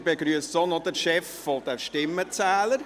Wir begrüssen auch noch den Chef der Stimmenzähler.